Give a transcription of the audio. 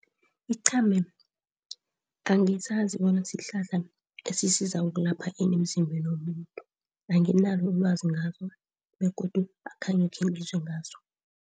Iqhame angisazi bona sihlahla esisiza ukulapha ini emzimbeni womuntu, anginalo ilwazi ngaso begodu akhange khengizwe ngaso.